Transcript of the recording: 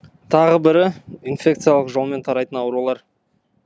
тағы бірі инфекциялық жолмен тарайтын аурулар